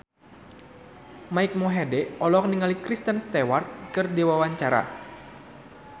Mike Mohede olohok ningali Kristen Stewart keur diwawancara